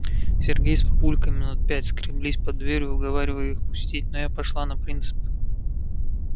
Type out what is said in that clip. сергей с папулькой минут пять скреблись под дверью уговаривая их пустить но я пошла на принцип